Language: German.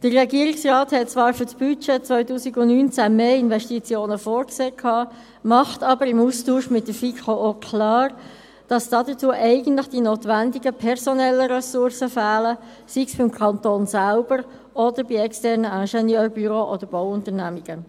Der Regierungsrat sah zwar für das Budget 2019 mehr Investitionen vor, machte aber im Austausch mit der FiKo auch klar, dass dazu eigentlich die notwendigen personellen Ressourcen fehlen, sei es beim Kanton selbst oder sei es bei externen Ingenieur büros oder Bauunternehmungen.